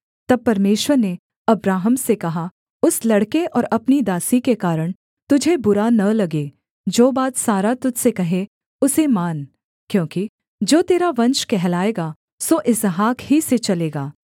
तब परमेश्वर ने अब्राहम से कहा उस लड़के और अपनी दासी के कारण तुझे बुरा न लगे जो बात सारा तुझ से कहे उसे मान क्योंकि जो तेरा वंश कहलाएगा सो इसहाक ही से चलेगा